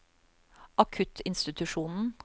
akuttinstitusjonen